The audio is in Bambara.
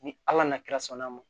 Ni ala na kira sɔnni ma